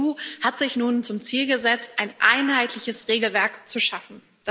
Die EU hat sich nun zum Ziel gesetzt, ein einheitliches Regelwerk zu schaffen.